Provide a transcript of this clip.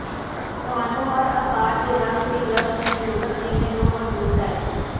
ਤੁਹਾਨੂੰ ਹਰ ਆਕਾਰ ਦੇ ਰੰਗ ਦੀ ਬ੍ਰਸ਼ ਦੀ ਜ਼ਰੂਰਤ ਨਹੀਂ ਹੈ ਜੋ ਮੌਜੂਦ ਹੈ